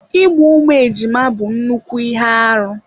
Igbu ụmụ ejima bụ nnukwu ihe arụ.